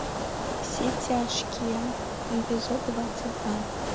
все тяжкие эпизод двадцать два